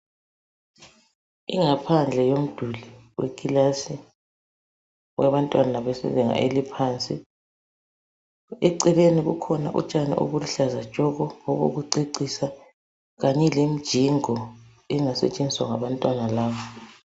Ingaphandle yomduli wekilasi wabantwana bezinga eliphansi, eceleni kukhona utshani obuluhlaza tshoko obokucecisa kanye lemijingo engasetshenziswa ngabantwana laba.